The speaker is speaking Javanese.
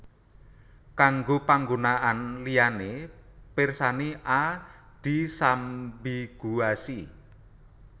Kanggo panggunaan liyané pirsani A disambiguasi